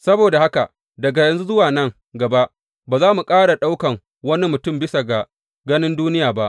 Saboda haka, daga yanzu zuwa nan gaba, ba mu ƙara ɗaukan wani mutum bisa ga ganin duniya ba.